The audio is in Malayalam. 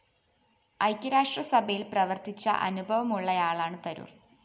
ഐക്യരാഷ്ട്ര സഭയില്‍ പ്രവര്‍ത്തിച്ച അനുഭവമുള്ളയാളാണ് തരൂര്‍